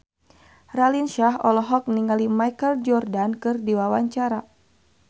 Raline Shah olohok ningali Michael Jordan keur diwawancara